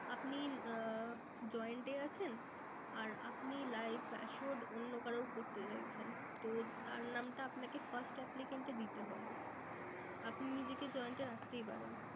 আপনি আহ joined এ আছেন। আর আপনি life associate অন্য কারো করতে চাইছেন। তো তার নামটা আপনাকে first applicant দিতে হবে। আপনি নিজেকে joined এ রাখতেই পারেন।